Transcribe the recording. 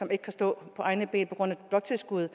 ikke kan stå på egne ben på grund af bloktilskuddet